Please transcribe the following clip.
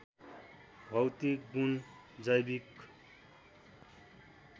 भौतिक गुण जैविक